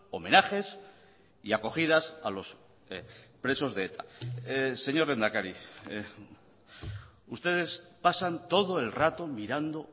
homenajes y acogidas a los presos de eta señor lehendakari ustedes pasan todo el rato mirando